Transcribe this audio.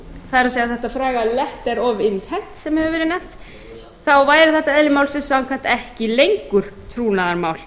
það er þetta fræga letter of intent sem hefur verið nefnt þá væri þetta eðli málsins samkvæmt ekki lengur trúnaðarmál